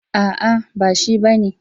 A'a ba shi bane.